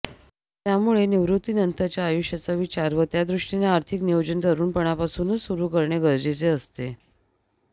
त्यामुळे निवृत्तीनंतरच्या आयुष्याचा विचार व त्या दृष्टीने आर्थिक नियोजन तरुणपणापासूनच सुरू करणे गरजेचे असते